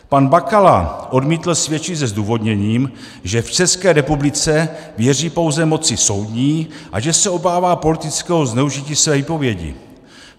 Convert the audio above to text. Pan Bakala odmítl svědčit se zdůvodněním, že v České republice věří pouze moci soudní a že se obává politického zneužití své výpovědi.